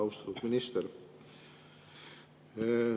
Austatud minister!